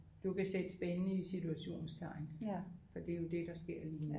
Du kan sætte spændende i situationstegn for det er det der sker lige nu